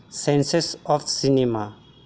Census of cinema.